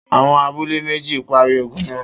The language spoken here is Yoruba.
T.Awon abule meji pari ogun naa